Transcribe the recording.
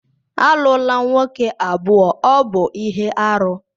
Alụla nwoke abụọ, ọ bụ ihe aru!